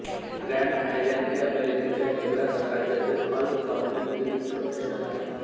grand Island हे अमेरिकेच्या Nebraska राज्यातील हॉल काउंटीतील छोटे शहर आहे